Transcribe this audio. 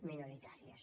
minoritàries